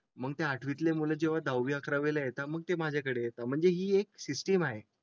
मग ते आठवीतील मुले जेव्हा जाऊ या करावे ला येता. मग ते माझ्याकडे येतात म्हणजे ही एक सिस्टीम आहे.